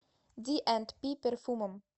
ди энд пи перфумум